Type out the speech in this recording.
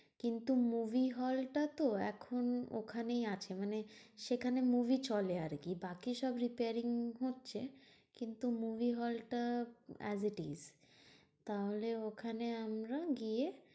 কিন্তু movie hall টা তো এখন ওখানেই আছে। মানে সেখানে movie চলে আরকি। বাকি সব repair হচ্ছে কিন্তু movie hall টা as it is. তাহলে ওখানে আমরা গিয়ে